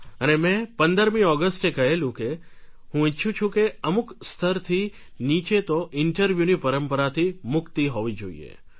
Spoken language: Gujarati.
અને મેં 15મી ઑગસ્ટે કહેલું કે હું ઇચ્છું છું કે અમુક સ્તરથી નીચે તો ઇન્ટરવ્યુ ની પરંપરાથી મુક્તિ હોવી જોઈએ